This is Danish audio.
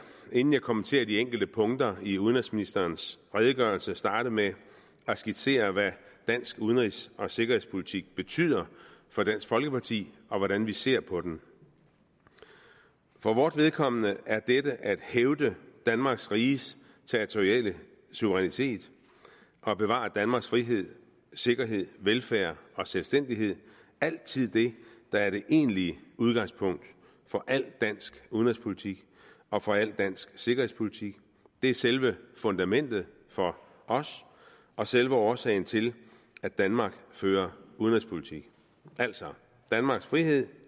inden jeg kommenterer de enkelte punkter i udenrigsministerens redegørelse starte med at skitsere hvad dansk udenrigs og sikkerhedspolitik betyder for dansk folkeparti og hvordan vi ser på den for vort vedkommende er dette at hævde danmarks riges territoriale suverænitet og bevare danmarks frihed sikkerhed velfærd og selvstændighed altid det der er det egentlige udgangspunkt for al dansk udenrigspolitik og for al dansk sikkerhedspolitik det er selve fundamentet for os og selve årsagen til at danmark fører udenrigspolitik altså danmarks frihed